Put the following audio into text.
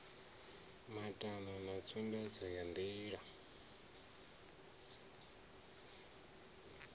matano na tsumbedzo ya ndilani